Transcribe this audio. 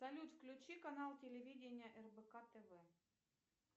салют включи канал телевидения рбк тв